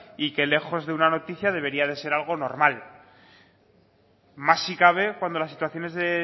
y que lejos de una noticia debería de ser algo normal más si cabe cuando las situación es de